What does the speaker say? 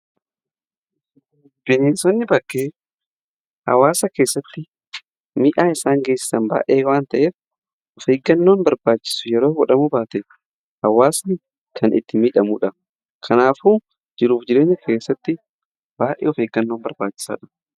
Bineensonni bakkee hawaasa keessatti miidhaa isaan geessan baayyee waan ta'eef of eeggannoon barbaachisu yeroo godhamu baate hawaasa kan itti miidhamuudha. kanaafuu jiruuf jireenya keessatti baayyee of eeggannoon barbaachisaa dha.